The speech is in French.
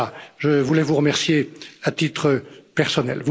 Je voulais vous remercier, à titre personnel.